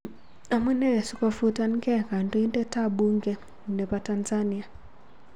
Amunee sikofutangei Kandoindet ap bunge nepo Tanzania?